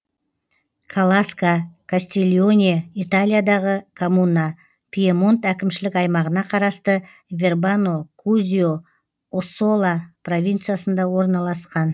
каласка кастильоне италиядағы коммуна пьемонт әкімшілік аймағына қарасты вербано кузьо оссола провинциясында орналасқан